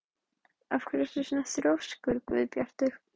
Af hverju ertu svona þrjóskur, Guðbjartur?